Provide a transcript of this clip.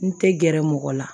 N tɛ gɛrɛ mɔgɔ la